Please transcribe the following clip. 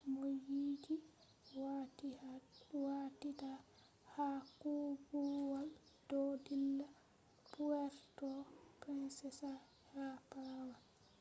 mooyidii waatiitaa haa koobuwal do dilla puerto princesa ha palawan